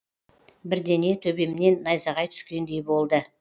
бірдене төбемнен найзағай түскендей болды